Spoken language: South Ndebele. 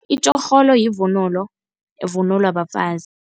Itjorholo yivunulo, evunulwa bafazi.